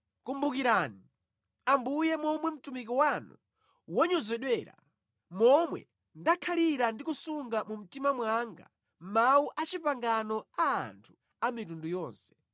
Kumbukirani, Ambuye momwe mtumiki wanu wanyozedwera, momwe ndakhalira ndi kusunga mu mtima mwanga mawu a pangano a anthu a mitundu yonse,